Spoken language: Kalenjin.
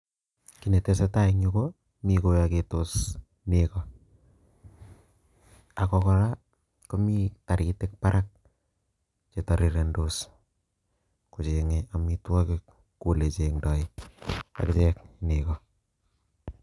Kit netesee tai en yuukomi koyoketos negoo, ak kora komi toriitiik barak Che tirirendos kochenge amitwogiik kou olechengdoi akichek nekoo